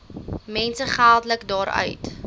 mense geldelik daaruit